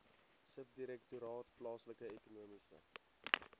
subdirektoraat plaaslike ekonomiese